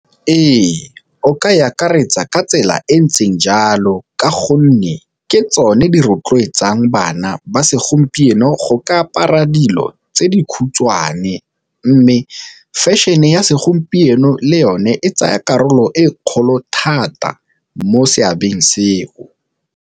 Re, o ka e akaretsa ka tsela e ntseng jalo ka gonne ke tsone di rotloetsang bana ba segompieno go ka apara dilo tse di khutshwane, mme fashion-e ya segompieno le yone e tsaya karolo e kgolo thata mo seabeng seo.